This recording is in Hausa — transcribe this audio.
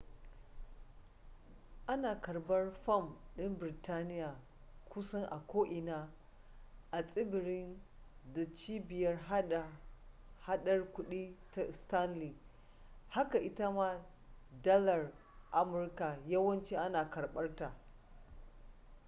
ana karbar fam din birtaniya kusan a ko'ina a tsibirin da cibiyar hada hadar kudi ta stanley haka ita ma dalar amurka yawanci ana karbar ta